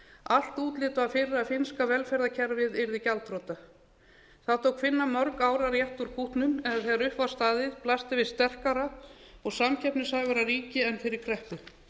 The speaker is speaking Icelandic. allt útlit var fyrir að finnska velferðarkerfið yrði gjaldþrota það tók finna mörg ár að rétta úr kútnum en þegar upp var staðið blasti við sterkara og samkeppnishæfara ríki en fyrir kreppu